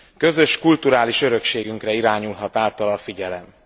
Közös kulturális örökségünkre irányulhat általa a figyelem.